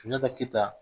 Sunjata keyita